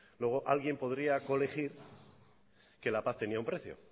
luego alguien podría corregir que la paz tenía un precio